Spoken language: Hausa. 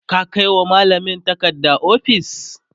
ka Kai wa mallamin takarda ofis?